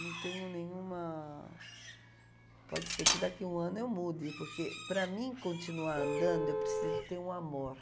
Não tenho nenhuma... Pode ser que daqui a um ano eu mude, porque para mim continuar andando, eu preciso ter um amor.